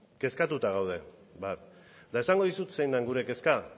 kezkatuta gaude eta esango dizut zein den gure kezka